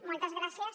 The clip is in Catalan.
moltes gràcies